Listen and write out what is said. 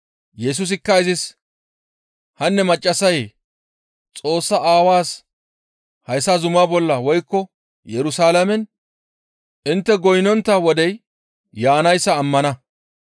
Yesusikka izis, «Hanne maccassayee, Xoossaa aawaas hayssa zumaa bolla woykko Yerusalaamen intte goynnontta wodey yaanayssa ammana.